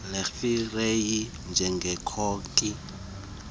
legiyeri njengekhoki esentanjeni